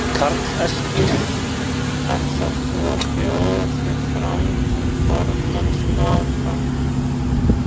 Karl Eskil: Ætlar þú að bjóða þig fram til formennsku áfram?